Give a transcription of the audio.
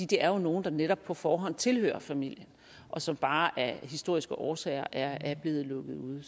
det er jo nogle der netop på forhånd tilhører familien og som bare af historiske årsager er blevet lukket ude